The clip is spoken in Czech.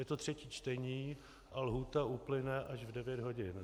Je to třetí čtení a lhůta uplyne až v 9 hodin.